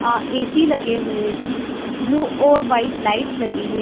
अ AC. लगे हुए हैं ब्लू और व्हाइट लाइट्स लगी है ।